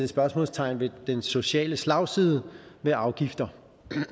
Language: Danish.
spørgsmålstegn ved den sociale slagside ved afgifter